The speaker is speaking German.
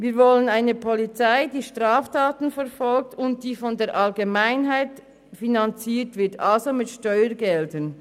Wir wollen eine Polizei, die Straftaten verfolgt und die von der Allgemeinheit finanziert wird, also mit Steuergeldern.